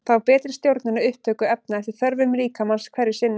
Þá er betri stjórnun á upptöku efna eftir þörfum líkamans hverju sinni.